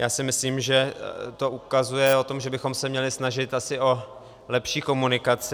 Já si myslím, že to ukazuje o tom, že bychom se měli snažit asi o lepší komunikaci.